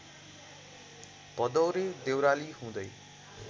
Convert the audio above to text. भदौरे देउराली हुँदै